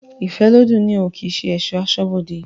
Ifẹ́lodùn ni oún kii ṣe esọ̀ asọ́bodè